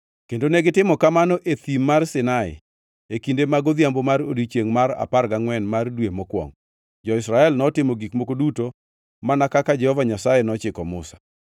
kendo negitimo kamano e Thim mar Sinai e kinde mag odhiambo mar odiechiengʼ mar apar gangʼwen mar dwe mokwongo. Jo-Israel notimo gik moko duto mana kaka Jehova Nyasaye nochiko Musa.